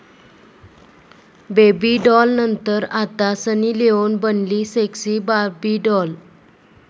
baby डाॅलनंतर आता Sunny Leone बनली सेक्सी बार्बी डाॅल